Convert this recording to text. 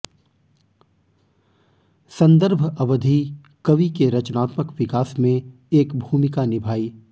संदर्भ अवधि कवि के रचनात्मक विकास में एक भूमिका निभाई